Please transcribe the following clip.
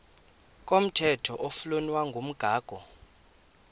komthetho oflunwa ngumgago